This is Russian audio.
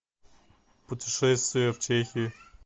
путешествия в чехии